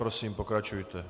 Prosím, pokračujte.